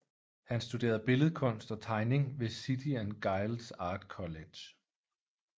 Han studerede billedkunst og tegning ved City and Guilds Art College